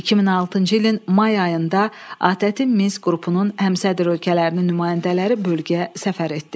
2006-cı ilin may ayında ATƏT-in Minsk qrupunun həmsədr ölkələrinin nümayəndələri bölgəyə səfər etdi.